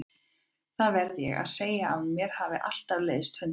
Það verð ég að segja að mér hafa alltaf leiðst hundar.